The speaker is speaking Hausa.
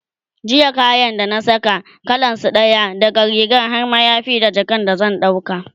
jiya kayan da na Saka, kalansu ɗaya, daga rigar har mayafi da jakan da zan dauka